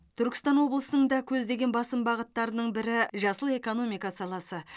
түркістан облысының да көздеген басым бағыттарының бірі жасыл экономика саласы